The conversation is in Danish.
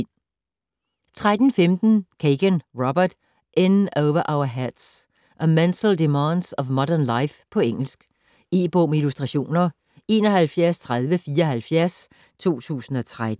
13.15 Kegan, Robert: In over our heads: the mental demands of modern life På engelsk. E-bog med illustrationer 713074 2013.